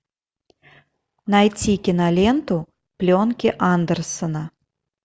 найти киноленту пленки андерсена